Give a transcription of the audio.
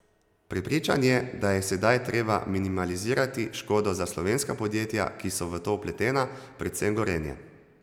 Prepričan je, da je sedaj treba minimalizirati škodo za slovenska podjetja, ki so v to vpletena, predvsem Gorenje.